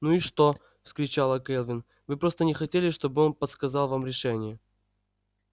ну и что вскричала кэлвин вы просто не хотели чтобы он подсказал вам решение